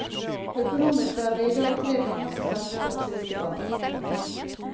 Økonomisk er vi idag tre ganger så sterke som siste gang. punktum